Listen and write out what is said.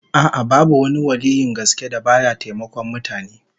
A'a, babu wani waliyyin gaske da ba ya taimakon mutane